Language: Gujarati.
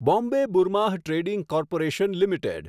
Bombay Burmah trading corporation limited